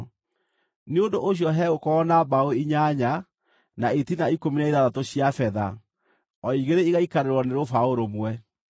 Nĩ ũndũ ũcio hegũkorwo na mbaũ inyanya, na itina ikũmi na ithathatũ cia betha, o igĩrĩ igaikarĩrwo nĩ rũbaũ rũmwe.